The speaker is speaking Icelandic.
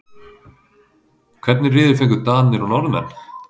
Hvernig riðil fengu Danir og Norðmenn?